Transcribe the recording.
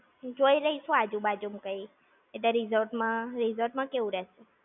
જોઈ લઈશું આજુ બાજુ માં કઈ. એટલે resort માં, resort માં કેવું રહેશે?